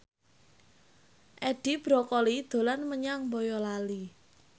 Edi Brokoli dolan menyang Boyolali